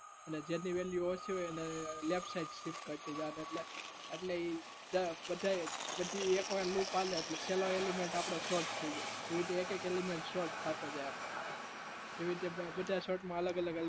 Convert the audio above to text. ને જેની value ઓછી હોય એને left side shift કરતું જવાનું એટલે ઈ પછી એક વાર loop આલો એટલે છેલ્લો element આપડો sort થઇ જાય એવી રીતે એક એક element sort થાતો જાય એવી રીતે બધા sort માં અલગ અલગ